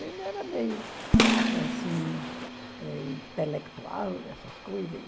Ele era meio, assim, eh intelectual, essas coisas.